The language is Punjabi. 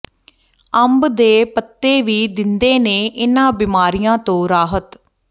ਅੰਬ ਦੇ ਪੱਤੇ ਵੀ ਦਿੰਦੇ ਨੇ ਇਨਾਂ ਬਿਮਾਰੀਆਂ ਤੋਂ ਰਾਹਤ